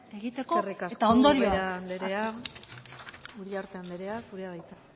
egiteko eta ondorio eskerrik asko ubera anderea uriarte anderea zurea da hitza